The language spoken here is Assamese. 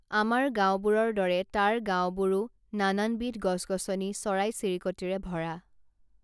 আমাৰ গাঁৱবোৰৰ দৰে তাৰ গাঁৱবোৰো নানানবিধ গছগছনি চৰাইচিৰিকটিৰে ভৰা